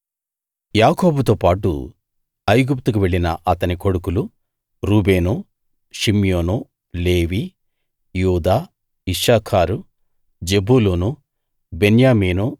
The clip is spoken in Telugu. యాకోబుతోబాటు ఐగుప్తుకు వెళ్ళిన అతని కొడుకులు రూబేను షిమ్యోను లేవి యూదా ఇశ్శాఖారు జెబూలూను బెన్యామీను